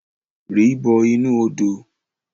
Ri bọ inu odo!